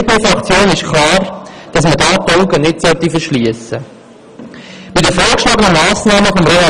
Auch für die BDP-Fraktion ist klar, dass man davor die Augen nicht verschliessen sollte.